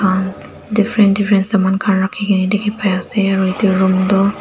ah different different saman khan rakhi na dikhi pai aSe.